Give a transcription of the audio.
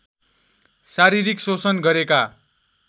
शारीरिक शोषण गरेका